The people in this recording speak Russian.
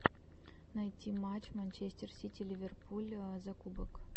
найти матч манчестер сити ливерпуль за кубок